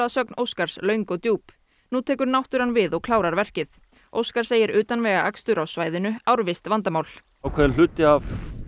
sögn Óskars löng og djúp nú tekur náttúran við og klárar verkið óskar segir utanvegaakstur á svæðinu árvisst vandamál ákveðinn hluti af